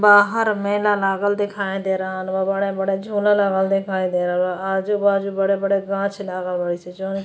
बाहर मेला लागल देखाई दे रहल बा। बड़े-बड़े झोला लागल देखाई दे रहल बा। आजु-बाजु बड़े-बड़े गांछ लागल बाड़ी स जौन --